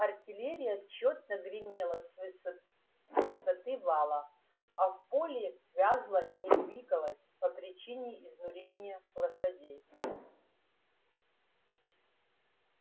артиллерия тщетно гремела с высоты вала а в поле вязла и не двигалась по причине изнурения лошадей